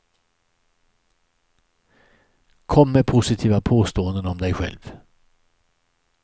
Kom med positiva påståenden om dig själv.